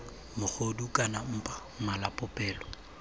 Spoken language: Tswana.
mogodu kana mpa mala popelo